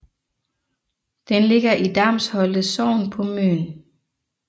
Den ligger i Damsholte Sogn på Møn